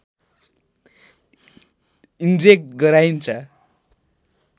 inject गराइन्छ